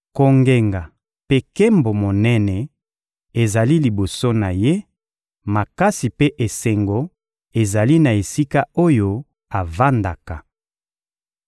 Kongenga mpe nkembo monene ezali liboso na Ye, makasi mpe esengo ezali na esika oyo avandaka.